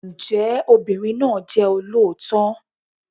Ǹjẹ́ obìnrin náà jẹ́ olóòótọ́?